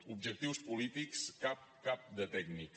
objectius polítics cap cap de tècnic